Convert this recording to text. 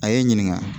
A ye n ɲininka